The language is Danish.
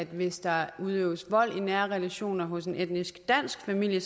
hvis der udøves vold i nære relationer hos en etnisk dansk familie